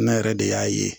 Ne yɛrɛ de y'a ye